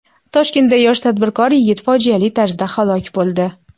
Toshkentda yosh tadbirkor yigit fojiali tarzda halok bo‘ldi.